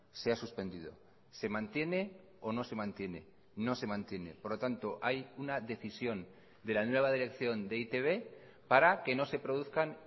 se ha suspendido se mantiene o no se mantiene no se mantiene por lo tanto hay una decisión de la nueva dirección de e i te be para que no se produzcan